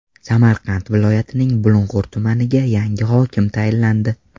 Samarqand viloyatining Bulung‘ur tumaniga yangi hokim tayinlandi.